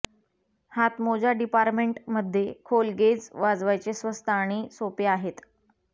हातमोजा डिपार्टमेंटमध्ये खोल गेज वाजवायचे स्वस्त आणि सोपे आहेत